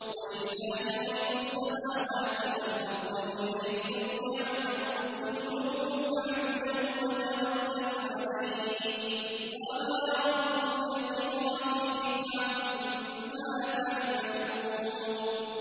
وَلِلَّهِ غَيْبُ السَّمَاوَاتِ وَالْأَرْضِ وَإِلَيْهِ يُرْجَعُ الْأَمْرُ كُلُّهُ فَاعْبُدْهُ وَتَوَكَّلْ عَلَيْهِ ۚ وَمَا رَبُّكَ بِغَافِلٍ عَمَّا تَعْمَلُونَ